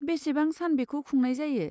बेसेबां सान बेखौ खुंनाय जायो?